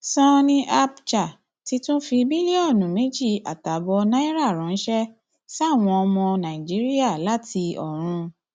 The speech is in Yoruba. sanni abcha ti tún fi bílíọnù méjì àtààbọ náírà ránṣẹ sáwọn ọmọ nàìjíríà láti ọrun